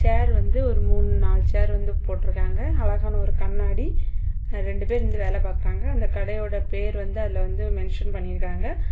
சேர் வந்து ஒரு மூணு நாலு சேர் வந்து போட்டுருக்காங்க அழகான ஒரு கண்ணாடி ரெண்டு பேரு நின்டு வேலை பாக்காங்க அந்த கடையோட பேர் வந்து அதுல வந்து மென்ஷன் பண்ணி இருக்காங்க.